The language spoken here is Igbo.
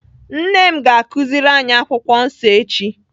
Nne m ga-akụziri anyị akwụkwọ nsọ echi.